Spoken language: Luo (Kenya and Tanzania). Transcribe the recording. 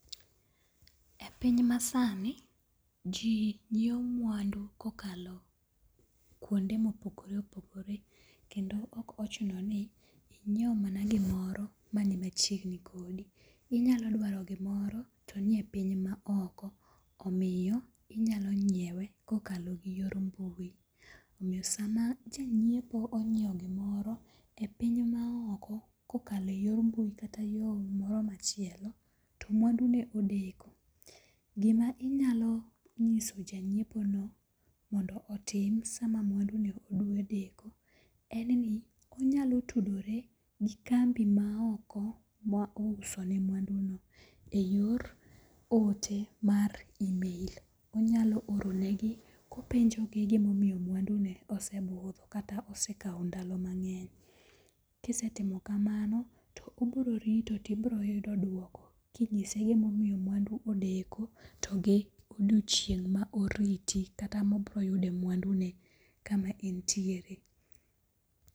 E piny masani, ji nyiewo mwandu kokalo kwonde mopogore opogore kendo ok ochuno ni inyiewo mana gimoro mani machiegni kodi. Inyalo dwaro gimoro to nie piny maoko. Omiyo inyalo nyiewe kokalo gi yor mbui. Omiyo sama janyiepo onyiewo gimoro e piny maoko kokalo e yor mbui kata yo moro machielo, to mwandune odeko, gima inyalo nyiso janyiepono mondo otim sama mwandune dwa deko en ni, onyalo tudore gi kambi maoko ma ousone mwanduno e yor ote mar email. Onyalo oronegi kopenjogi gimomiyo mwandune osebudho kata osekawo ndalo mang'eny. Kisetimo kamano, to obiro rito tibroyudo kinyise gimomiyo mwandu odeko to gi odiochieng' ma oriti ,kata ma obro yude mwandne kama entiere.